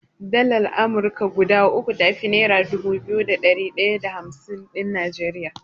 Dalar Amurka guda uku tafi nera dubu biyu da ɗari ɗaya da hamsin ɗin Najeriya.